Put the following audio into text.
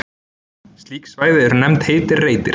Slík svæði eru nefnd heitir reitir.